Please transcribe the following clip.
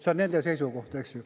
See on nende seisukoht, eks ju.